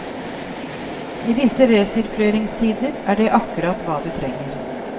I disse resirkuleringstider er det akkurat hva du trenger.